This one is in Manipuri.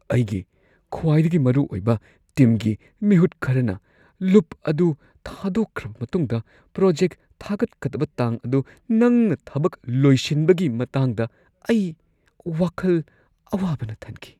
ꯑꯩꯒꯤ ꯈ꯭ꯋꯥꯏꯗꯒꯤ ꯃꯔꯨ ꯑꯣꯏꯕ ꯇꯤꯝꯒꯤ ꯃꯤꯍꯨꯠ ꯈꯔꯅ ꯂꯨꯞ ꯑꯗꯨ ꯊꯥꯗꯣꯛꯈ꯭ꯔꯕ ꯃꯇꯨꯡꯗ ꯄ꯭ꯔꯣꯖꯦꯛ ꯊꯥꯒꯠꯀꯗꯕ ꯇꯥꯡ ꯑꯗꯨ ꯅꯪꯅ ꯊꯕꯛ ꯂꯣꯏꯁꯤꯟꯕꯒꯤ ꯃꯇꯥꯡꯗ ꯑꯩ ꯋꯥꯈꯜ ꯑꯋꯥꯕꯅ ꯊꯟꯈꯤ꯫